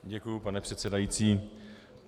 Děkuji, pane předsedající.